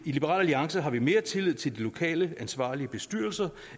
liberal alliance har vi mere tillid til de lokale ansvarlige bestyrelser